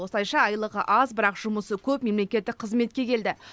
осылайша айлығы аз бірақ жұмысы көп мемлекеттік қызметке келді